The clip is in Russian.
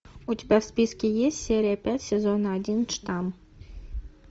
у тебя в списке есть серия пять сезона один штамм